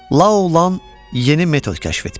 La Olan yeni metod kəşf etmişdi.